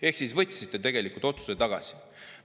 Ehk te võtsite tegelikult selle otsuse tagasi.